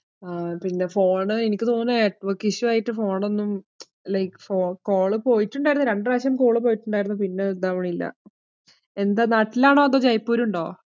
ആഹ് പിന്നെ phone എനിക്ക് തോന്നണു network issue ആയിട്ട് phone ഒന്നും like ഫോ~ call പോയിട്ടുണ്ടായിരുന്നു രണ്ടു പ്രാവശ്യം call പോയിട്ടുണ്ടായിരുന്നു, പിന്നെ ഇതാവണില്ല. എന്താ നാട്ടിലാണോ അതോ ജയ്‌പൂരുണ്ടോ?